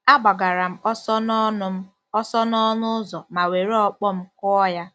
A gbagara m ọsọ n’ọnụ m ọsọ n’ọnụ ụzọ ma were ọkpọ m kụọ ya.